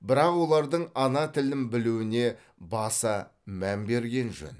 бірақ олардың ана тілін білуіне баса мән берген жөн